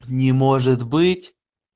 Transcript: не может быть